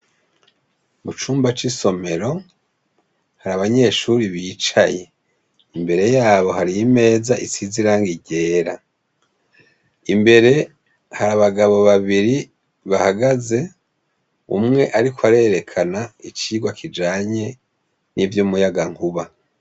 Mu cumba c' isomero, hari abanyeshure bicaye. Imbere yabo hari imeza isize irangi ryera. Imbere hari abagabo babiri bahagaze, umwe ariko arerekana icirwa kijanye n' ivy' umuyagankuba.